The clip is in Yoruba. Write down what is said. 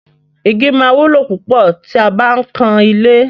Igi máa wúlò púpọ̀ tí a bá ń kan ilé.